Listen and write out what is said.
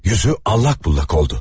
Yüzü allak bullak oldu.